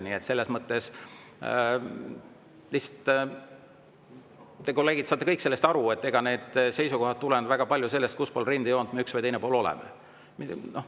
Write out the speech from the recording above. Nii et küllap te, kolleegid, saate kõik aru, et need seisukohad tulenevad väga palju sellest, kus pool rindejoont me üks või teine pool oleme.